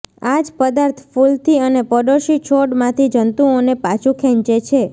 આ જ પદાર્થ ફૂલથી અને પડોશી છોડમાંથી જંતુઓને પાછું ખેંચે છે